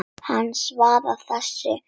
Hann svarar þessu engu.